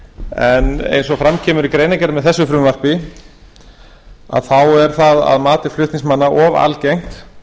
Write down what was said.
en eins og fram kemur í greinargerð með þessu frumvarpi þá er það að mati flutningsmanna of algengt